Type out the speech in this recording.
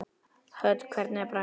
Hödd: Hvernig er bragðið?